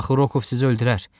Axı Rokov sizi öldürər.